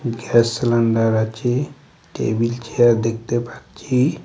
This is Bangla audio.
গ্যাস সেলেন্ডার আচে টেবিল চেয়ার দেকতে পাচ্চি।